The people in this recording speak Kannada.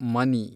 ಮನಿ